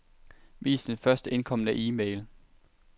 Vis den først indkomne e-mail.